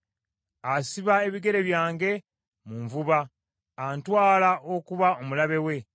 Asiba ebigere byange mu nvuba, antwala okuba omulabe we.